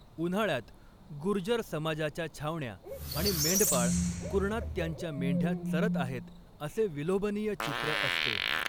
उन्हाळ्यात, गुर्जर समाजाच्या छावण्या आणि मेंढपाळ कुरणात त्यांच्या मेंढ्या चरत आहेत असे विलोभनीय चित्र असते.